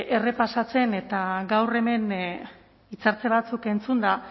errepasatzen eta gaur hemen hitzartze batzuk entzunda